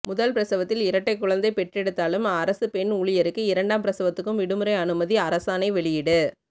முதல் பிரசவத்தில் இரட்டை குழந்தை பெற்றெடுத்தாலும் அரசு பெண் ஊழியருக்கு இரண்டாம் பிரசவத்துக்கும் விடுமுறை அனுமதி அரசாணை வெளியீடு